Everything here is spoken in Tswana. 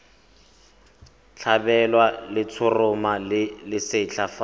tlhabelwa letshoroma le lesetlha fa